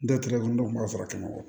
Dɔw tɛgɛ don kun b'a fara kɛmɛ wɔɔrɔ